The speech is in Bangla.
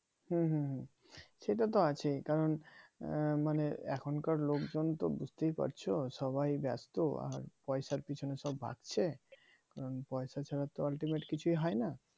হুম হুম হুম সেটা তো আছেই কারণ আহ মানে এখনকার লোকজন তো বুঝতে পারছো সবাই ব্যস্ত আর পয়সার পেছনে সব ভাগছে পয়সা ছাড়া তো ultimate কিছুই হয় না